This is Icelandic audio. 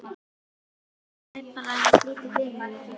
Ég læt fara eins lítið fyrir mér og ég get.